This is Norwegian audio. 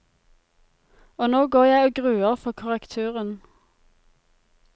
Og nå går jeg og gruer for korrekturen.